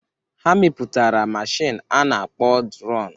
Ha mepụtara mashin a na-akpọ dron.